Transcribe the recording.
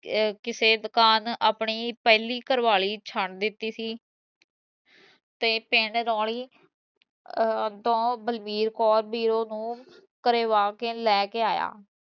ਕਿਸੇ ਦੁਕਾਨ ਆਪਣੀ ਪਹਿਲੀ ਘਰਵਾਲੀ ਛੱਡ ਦਿੱਤੀ ਸੀ ਤੇ ਪਿੰਡ ਨੋਂਲੀ ਦਾਓ ਬਲਬੀਰ ਕੌਰ ਬੀਰੋਂ ਨੂੰ, ਕਰਵਾ ਕੇ ਲੈ ਕੇ ਆਇਆ